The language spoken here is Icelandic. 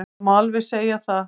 Það má alveg segja það.